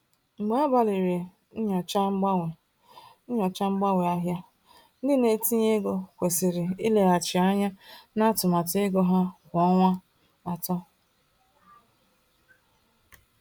Mgbe agbalịrị nyochaa mgbanwe nyochaa mgbanwe ahịa, ndị na-etinye ego kwesịrị ileghachi anya na atụmatụ ego ha kwa ọnwa atọ.